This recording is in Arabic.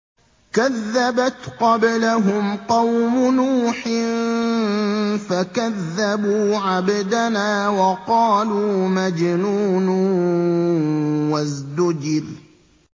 ۞ كَذَّبَتْ قَبْلَهُمْ قَوْمُ نُوحٍ فَكَذَّبُوا عَبْدَنَا وَقَالُوا مَجْنُونٌ وَازْدُجِرَ